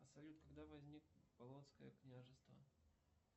салют когда возник полонское княжество